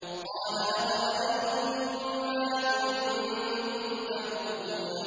قَالَ أَفَرَأَيْتُم مَّا كُنتُمْ تَعْبُدُونَ